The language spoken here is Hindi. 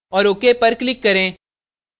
और ok पर click करें